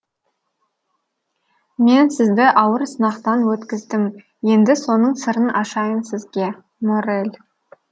мен сізді ауыр сынақтан өткіздім енді соның сырын ашайын сізге моррель